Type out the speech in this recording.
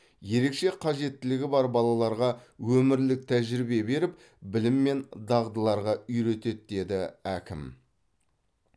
ерекше қажеттілігі бар балаларға өмірлік тәжірибе беріп білім мен дағдыларға үйретеді деді әкім